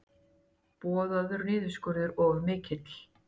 Boðaður niðurskurður of mikill